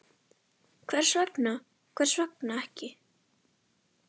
Hvers vegna, hvers vegna ekki?